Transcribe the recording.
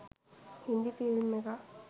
Hindi film එකක්.